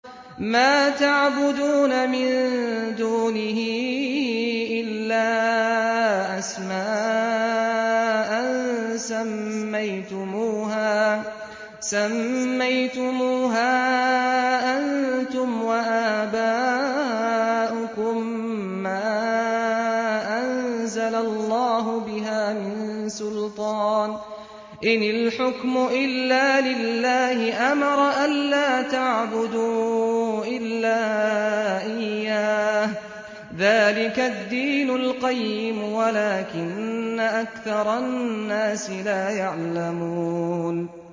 مَا تَعْبُدُونَ مِن دُونِهِ إِلَّا أَسْمَاءً سَمَّيْتُمُوهَا أَنتُمْ وَآبَاؤُكُم مَّا أَنزَلَ اللَّهُ بِهَا مِن سُلْطَانٍ ۚ إِنِ الْحُكْمُ إِلَّا لِلَّهِ ۚ أَمَرَ أَلَّا تَعْبُدُوا إِلَّا إِيَّاهُ ۚ ذَٰلِكَ الدِّينُ الْقَيِّمُ وَلَٰكِنَّ أَكْثَرَ النَّاسِ لَا يَعْلَمُونَ